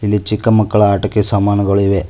ಇಲ್ಲಿ ಚಿಕ್ಕ ಮಕ್ಕಳ ಆಟಿಕೆ ಸಾಮಾನುಗಳು ಇವೆ.